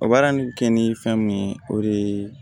O baara nin bɛ kɛ ni fɛn mun ye o ye